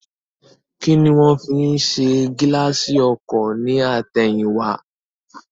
Kíni wón fi ṣe gíláàsì ọkọ̀ ní àtẹ̀yìn wá